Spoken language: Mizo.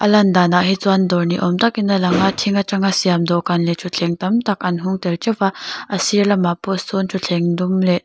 lan danah hi chuan dawr ni awm takin a lang a thing atanga siam dawhkan leh thutthleng tam tak an hung tel teuh va a sir lamah pawh sawn thutthleng dum leh--